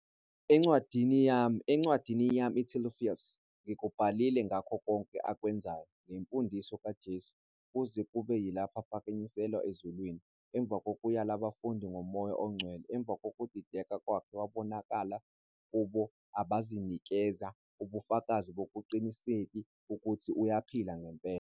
Encwadini yami, encwadini yami Theophilus, ngikubhalile ngakho konke akwenzayo, nangemfundiso kaJesu, kuze kube yilapho ephakanyiselwa ezulwini, emva kokuyala abafundi ngoMoya oNgcwele. Emva kokudideka kwakhe wabonakala kubo abazinikeza ubufakazi bokungaqiniseki ukuthi uyaphila ngempela.